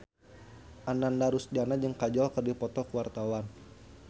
Ananda Rusdiana jeung Kajol keur dipoto ku wartawan